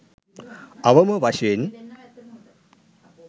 අවම වශයෙන්